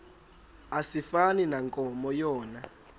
asifani nankomo yona